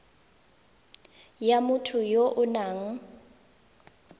ya motho ya o nang